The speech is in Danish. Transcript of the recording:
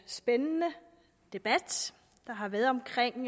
spændende debat der har været omkring